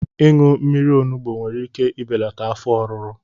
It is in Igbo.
Ịṅụ mmiri onugbu nwere ike ibelata afọ ọruru